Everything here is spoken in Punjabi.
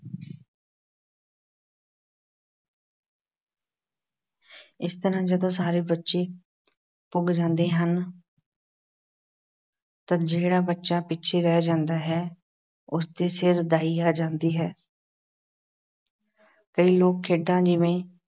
ਇਸ ਤਰ੍ਹਾਂ ਜਦੋਂ ਸਾਰੇ ਬੱਚੇ ਪੁੱਗ ਜਾਂਦੇ ਹਨ ਤਦ ਜਿਹੜਾ ਬੱਚਾ ਪਿੱਛੇ ਰਹਿ ਜਾਂਦਾ ਹੈ ਉਸ ਦੇ ਸਿਰ ਦਾਈ ਆ ਜਾਂਦੀ ਹੈ ਕਈ ਲੋਕ-ਖੇਡਾਂ ਜਿਵੇਂ